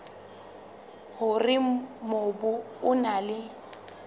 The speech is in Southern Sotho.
hore mobu o na le